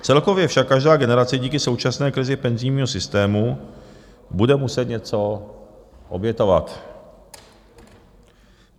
Celkově však každá generace díky současné krizi penzijního systému bude muset něco obětovat.